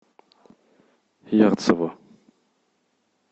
ярцево